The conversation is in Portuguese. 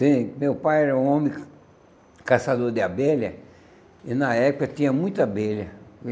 Sim, meu pai era um homem caçador de abelha e na época tinha muita abelha.